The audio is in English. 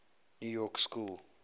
new york school